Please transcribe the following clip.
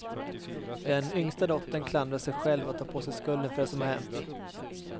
Den yngsta dottern klandrar sig själv och tar på sig skulden för det som har hänt.